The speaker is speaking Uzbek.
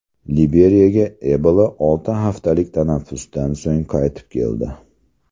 Liberiyaga Ebola olti haftalik tanaffusdan so‘ng qaytib keldi.